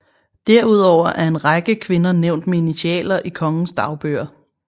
Derudover er en række kvinder nævnt med initialer i kongens dagbøger